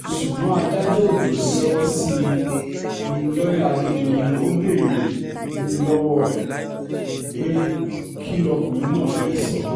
ṣùgbọ́n adájọ́ òjó ṣẹ́wọ́ sí i um lọ́yà adédọ̀yìn ò béèrè um lọ́wọ́ ẹ̀ pé kí lọkùnrin náà fẹ́ẹ́ sọ